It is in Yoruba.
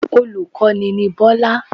Olùkọ́ni ni Bọ́lá